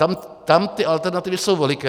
Tam ty alternativy jsou veliké.